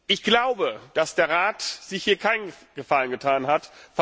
Ich glaube, dass der Rat sich hier keinen Gefallen getan hat.